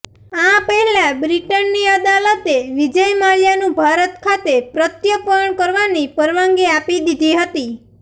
આ પહેલાં બ્રિટનની અદાલતે વિજય માલ્યાનું ભારત ખાતે પ્રત્યર્પણ કરવાની પરવાનગી આપી દીધી હતી